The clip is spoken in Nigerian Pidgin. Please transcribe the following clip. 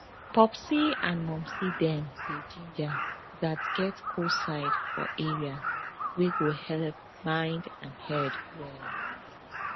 popsi and momsi dem dey ginger gats get cool side for area wey go helep mind and head well